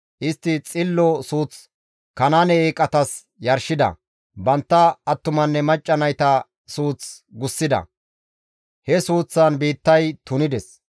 Istti xillo suuth Kanaane eeqatas yarshida; bantta attumanne macca nayta suuth gussida; he suuththan biittay tunides.